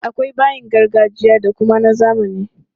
Akwai bayi na gargajiya da kuma na zamani.